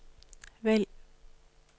vælg